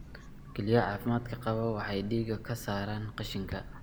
Kelyaha caafimaadka qaba waxay dhiigga ka saaraan qashinka.